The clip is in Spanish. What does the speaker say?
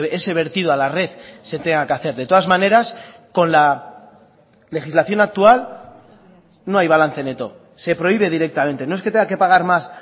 ese vertido a la red se tenga que hacer de todas maneras con la legislación actual no hay balance neto se prohíbe directamente no es que tenga que pagar más